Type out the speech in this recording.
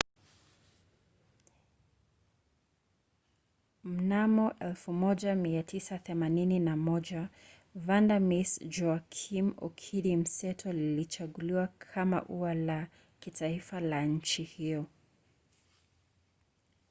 mnamo 1981 vanda miss joaquim okidi mseto lilichaguliwa kama ua la kitaifa la nchi hiyo